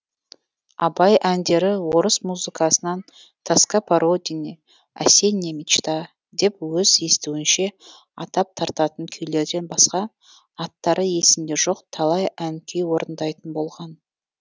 абай әндері орыс музыкасынан тоска по родине осенняя мечта деп өз естуінше атап тартатын күйлерден басқа аттары есінде жоқ талай ән күй орындайтын болған